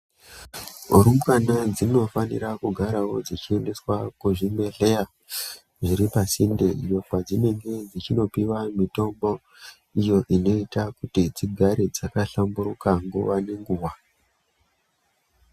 Rumbwana dzinofanira kugarawo dzichiendeswa kuzvibhehleya zviri pasinde iyo kwadzinenge dzichinopiwa mitombo iyo inoita kuti dzigare dzakahlamburuka nguva nenguva.